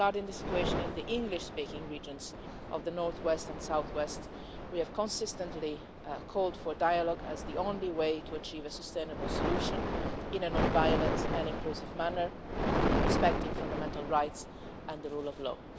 Regarding the situation in the English speaking regions of the north west and south west, we have consistently called for dialogue as the only way to achieve a sustainable solution, in a non violent and inclusive manner, respecting fundamental rights and the rule of law.